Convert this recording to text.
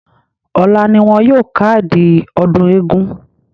Ọ̀la ni wọn yóò kádìí ọdún eégún.